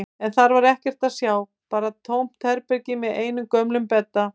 En þar var ekkert að sjá, bara tómt herbergi með einum gömlum bedda.